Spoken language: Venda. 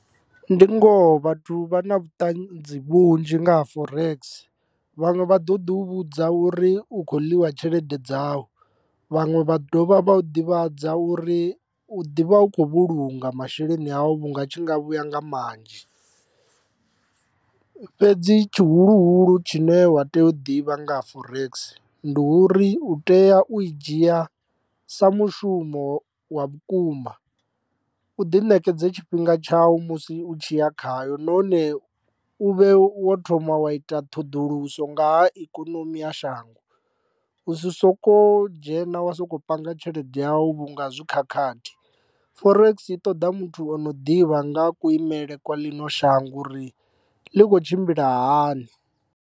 Ndi ngoho vhathu vha na vhuṱanzi vhunzhi nga ha forex vhanwe vha ḓo ḓi vhudza uri u khou ḽiwa tshelede dzau vhaṅwe vha dovha vha u ḓivhadza uri u ḓivha u kho vhulunga masheleni awu vhunga a tshi nga vhuya nga manzhi. Fhedzi tshihuluhulu tshine wa tea u ḓivha nga ha forex ndi uri u tea u i dzhia sa mushumo wa vhukuma u ḓi nekedze tshifhinga tshawu musi u tshi ya khayo nahone u vhe wo thoma wa ita ṱhoḓuluso nga ha ikonomi ya shango u si soko dzhena wa sokou panga tshelede yawu vhunga zwi khakhathi. Forex i ṱoḓa muthu o no ḓivha nga ha kuimele kwa ḽino shango uri ḽi kho tshimbila hani.